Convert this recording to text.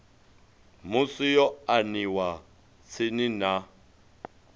musi yo aniwa tsini na